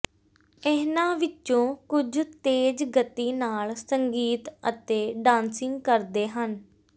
ਇਨ੍ਹਾਂ ਵਿੱਚੋਂ ਕੁਝ ਤੇਜ਼ ਗਤੀ ਨਾਲ ਸੰਗੀਤ ਅਤੇ ਡਾਂਸਿੰਗ ਕਰਦੇ ਹਨ